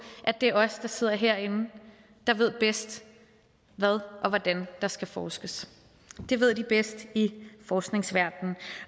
at det er os der sidder herinde der ved bedst hvad og hvordan der skal forskes det ved de bedst i forskningsverdenen